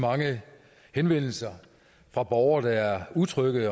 mange henvendelser fra borgere der er utrygge ved